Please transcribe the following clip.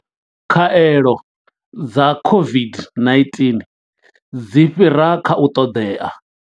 Khaelo dza COVID-19 dzi fhira kha u ṱoḓea.